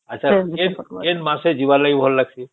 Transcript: ଆଛା କେନ ମାସ ରେ ଯିବାର ଲାଗି ଭଲ ଲାଗିଁସି